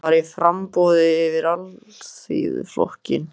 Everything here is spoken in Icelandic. Hann var í framboði fyrir Alþýðuflokkinn.